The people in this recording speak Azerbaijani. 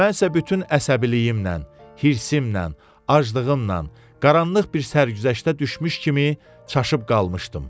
Mən isə bütün əsəbiliyimlə, hirsimlə, aclığımla qaranlıq bir sərgüzəştə düşmüş kimi çaşıb qalmışdım.